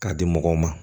K'a di mɔgɔw ma